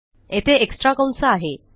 येथे एक्स्ट्रा कंस आहे